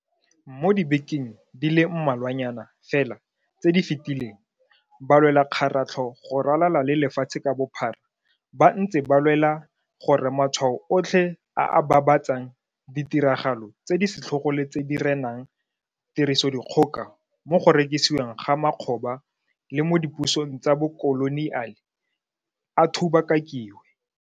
Mo dibekeng di le mmalwanyana fela tse di fetileng, balwelakgaratlho go ralala le lefatshe ka bophara ba ntse ba lwela gore matshwao otlhe a a babatsang ditiragalo tse di setlhogo le tse di renang tirisodikgoka mo go rekisiweng ga makgoba le mo dipusong tsa bokoloniale a thubakakiwe.